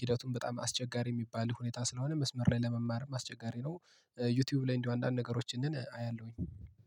ሂደቱን በጣም አስቸጋሪ የሚባል ሁኔታ ስለሆነ መስመር ላይ ለመማር አስቸጋሪ ነው። ዩቲዩብ ላይ እንደው አንዳንድ ነገሮችን አያለሁኝ